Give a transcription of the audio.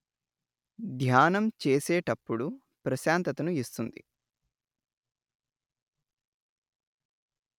ధ్యానం చేసేటప్పుడు ప్రశాంతతను ఇస్తుంది